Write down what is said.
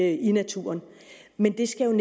i naturen men det skal